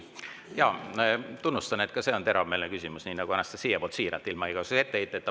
Jaa, tunnustan, et ka see on teravmeelne küsimus, nii nagu Anastassia oma, siiralt, ilma igasuguse etteheiteta.